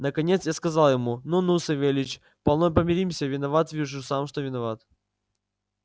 наконец я сказал ему ну ну савельич полно помиримся виноват вижу сам что виноват